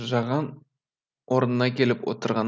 жаған орнына келіп отырған